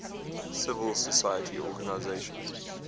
civil society organizations